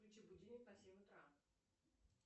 включи будильник на семь утра